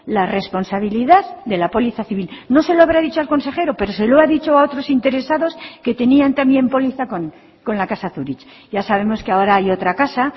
la responsabilidad de la póliza civil no se lo habrá dicho al consejero pero se lo ha dicho a otros interesados que tenían también póliza con la casa zurich ya sabemos que ahora hay otra casa